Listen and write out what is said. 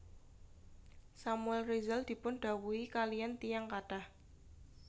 Samuel Rizal dipun dhawuhi kaliyan tiyang kathah